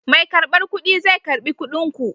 Mai karbar kuɗi zai karɓi kuɗin ku.